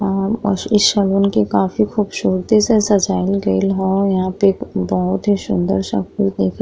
और ओस इस सगुन के काफी खूबसूरती से सजावल गइल ह। यहाँ पे बोहोत ही सुन्दर सा फूल दिख --